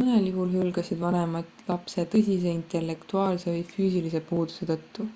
mõnel juhul hülgasid vanemad lapse tõsise intellektuaalse või füüsilise puuduse tõttu